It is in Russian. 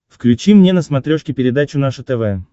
включи мне на смотрешке передачу наше тв